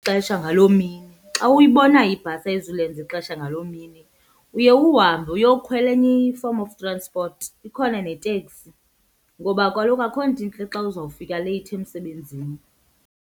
ixesha ngaloo mini, xa uyibonayo ibhasi ayizulenza ixesha ngaloo mini uye uhambe uyokhwela enye i-form of transport ikhona neteksi. Ngoba kaloku akho nto intle xa uzawufika leyithi emsebenzini.